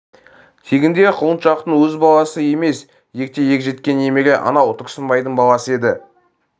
тегінде құлыншақтың өз баласы емес ерте ер жеткен немере анау тұрсынбайдың баласы еді